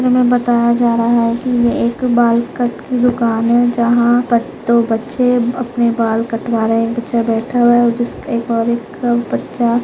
हमे बताया जा रहा है ये एक बाल कट की दूकान है जहा पर दो बच्छे अपने बाल कटवा रहे है बच्चा बैठा हुआ है जिस एक और एक बच्चा--